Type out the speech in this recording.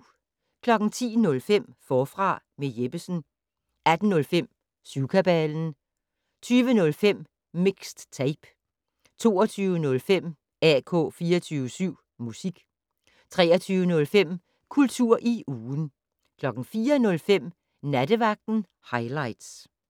10:05: Forfra med Jeppesen 18:05: Syvkabalen 20:05: Mixed Tape 22:05: AK 24syv Musik 23:05: Kultur i ugen 04:05: Nattevagten Highligts